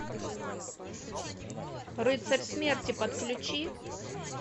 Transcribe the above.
рыцарь смерти подключи